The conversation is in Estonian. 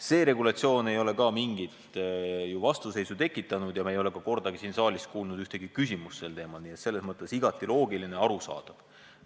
Seegi regulatsioon ei ole mingit vastuseisu tekitanud ja me ei ole kordagi siin saalis ka ühtegi küsimust sel teemal kuulnud, nii et selles mõttes igati loogiline ja arusaadav.